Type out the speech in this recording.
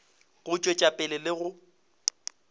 go tšwetša pele le go